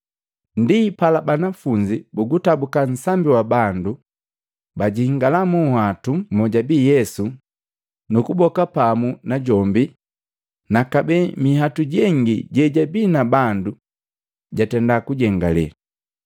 Ndipala banafunzi bugutabuka nsambi wa bandu, bajingalaa munhwatu mojabii Yesu nu kuboka pamu najombi na kabee minhwatu jengi jejabii na bandu jatenda kujengalee.